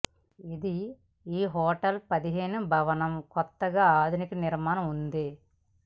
ఇది ఈ హోటల్ పదిహేను భవనం బొత్తిగా ఆధునిక నిర్మాణం ఉంది